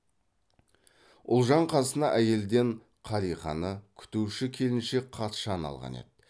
ұлжан қасына әйелден қалиқаны күтуші келіншек қатшаны алған еді